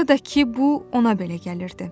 Ya da ki, bu ona belə gəlirdi.